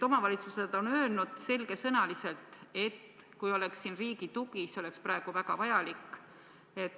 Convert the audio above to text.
Omavalitsused on öelnud selge sõnaga, et kui siin oleks riigi tugi, siis see oleks praegu väga vajalik.